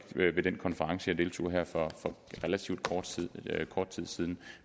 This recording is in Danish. ved den konference jeg deltog i her for relativt kort tid kort tid siden